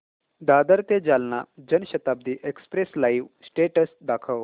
दादर ते Jalna Janshatabdi express live status दाखव